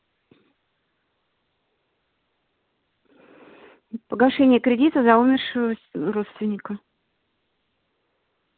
погашение кредита за умершего родственника